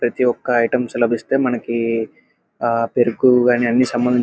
ప్రతి ఒక్క ఐటమ్స్ లభిస్తే మనకి ఆహ్ పెరుగు అన్ని --